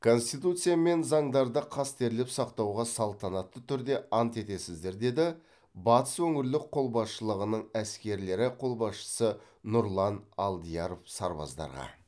конституция мен заңдарды қастерлеп сақтауға салтанатты түрде ант етесіздер деді батыс өңірлік қолбасшылығының әскерлері қолбасшысы нұрлан алдияров сарбаздарға